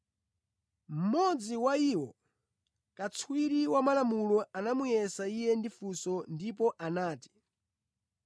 Mmodzi wa iwo, katswiri wa malamulo anamuyesa Iye ndi funso ndipo anati,